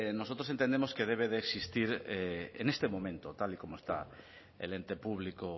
nosotros entendemos que debe de existir en este momento tal y como está el ente público